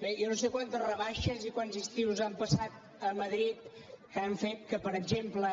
bé jo no sé quantes rebaixes i quants estius han passat a madrid que han fet que per exemple